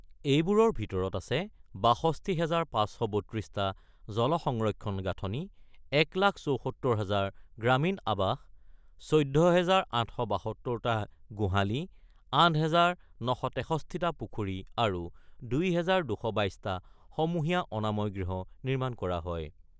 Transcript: এইবোৰৰ ভিতৰত আছে ৬২ হাজাৰ ৫৩২ টা জলসংৰক্ষণৰ গাঁথনি, ১ লাখ ৭৪ হাজাৰ গ্ৰামীণ আৱাস, ১৪ হাজাৰ ৮৭২ টা গোহালী, ৮ হাজাৰ ৯৬৩ টা পুখুৰী আৰু ২ হাজাৰ ২২২ টা সমূহীয়া অনাময় গৃহ নিৰ্মাণ কৰা হয়।